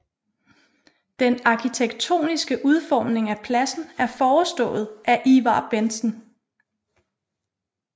Den arkitektoniske udformning af pladsen er forestået af Ivar Bentsen